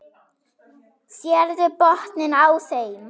Sérðu botninn á þeim.